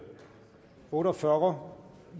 otte og fyrre